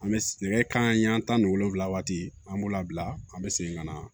An bɛ nɛgɛ kanɲɛ tan ni wolonwula waati an b'o labila an bɛ segin ka na